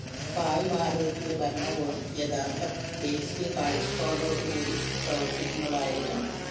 ഭാവി ഭാരതത്തിന്റെ ഭരണകൂടം യഥാര്‍ത്ഥ ദേശീയ കാഴ്ചപ്പാടോടുകൂടി പ്രവര്‍ത്തിക്കുന്നതായിരിക്കണം